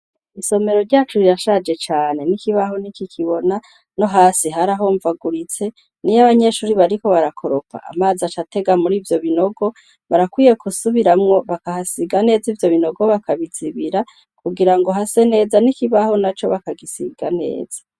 Isomero ryacu rirashaje cane n'ikibaho ni iki kibona no hasi haraho mvaguritse ni yo abanyeshuri bariko barakoropa amazi acatega muri ivyo binogo barakwiye kusubiramwo bakahasiga neza ivyo binogo bakabizibira kugira ngo hase neza n'ikibaho na co bakagisiga neza.